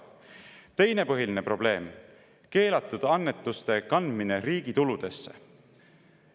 Teine põhiline probleem: keelatud annetuste kandmine riigi tuludesse.